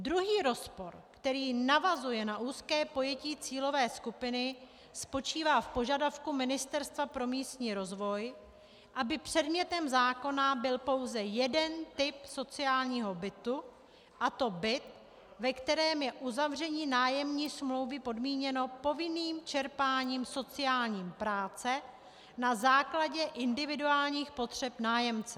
Druhý rozpor, který navazuje na úzké pojetí cílové skupiny, spočívá v požadavku Ministerstva pro místní rozvoj, aby předmětem zákona byl pouze jeden typ sociálního bytu, a to byt, ve kterém je uzavření nájemní smlouvy podmíněno povinným čerpáním sociální práce na základě individuálních potřeb nájemce.